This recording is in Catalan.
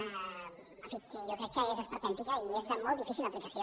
en fi jo crec que és esperpèntica i és de molt difícil aplicació